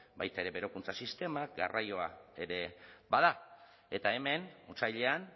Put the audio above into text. baita ere berokuntza sistemak garraioa ere bada eta hemen otsailean